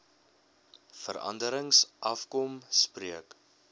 veranderings afkom spreek